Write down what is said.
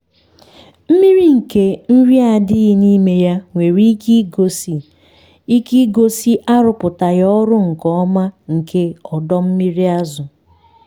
mmiri nke nri adịghị n’ime ya nwere ike igosi ike igosi arụpụtaghị ọrụ nke ọma nke ọdọ mmiri azụ.